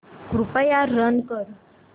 कृपया रन कर